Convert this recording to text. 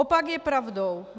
Opak je pravdou.